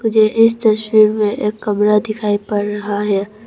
मुझे इस तस्वीर में एक कमरा दिखाई पड़ रहा है।